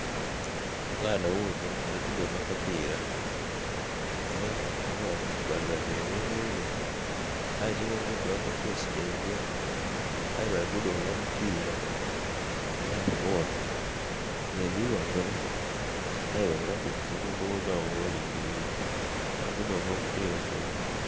Mwana wuno alikudonga kapira. Eeh ali wano. Bali babiri ni mwine aye tibenze kulaga face dhaibwe aye balikudonga mupira. Babano wano, nze ndibabona. Aye baziraku buzibu woba obalingirire. Bali kudonga mupiira gwaibwe